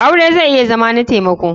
Aure zai iya Zama na taimako.